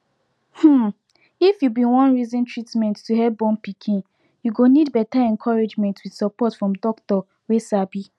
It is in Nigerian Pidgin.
um if you been wan reason treatment to help born pikin you go need better encouragement with support from doctor wey sabi